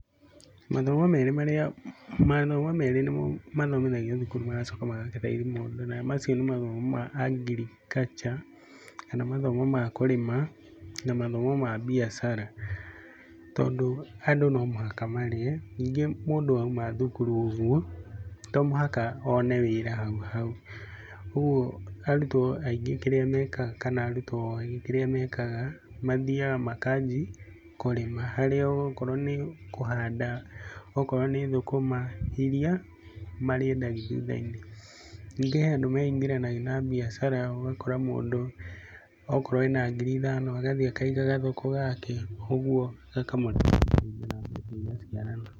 Mathomo merĩ marĩa, mathomo merĩ nĩmo mathomithagio thukuru magacoka magagĩteithia mũndũ na macio nĩ mathomo ma agriculture kana mathomo ma kũrĩma na mathomo ma mbiacara. Tondũ andũ no mũhaka marĩe, ningĩ mũndũ auma thukuru ũguo, to mũhaka one wĩra hau hau, ũguo arutwo aingĩ kirĩa mekaga kana arutwo aingĩ kĩrĩa mekaga, mathiaga makanji kũrĩma. Harĩa okorwo nĩ kũhanda, okorwo nĩ thũkũma iria marĩendagia thutha-inĩ. Ningĩ he andũ meingĩranagia na mbiacara, ũgakora mũndũ akorwo ena ngiri ithano agathiĩ akaiga gathoko gake ũguo gakamũteithia na mbeca igaciarana.